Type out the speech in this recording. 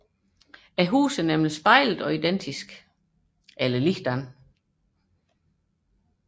Husene er nemlig spejlede og identiske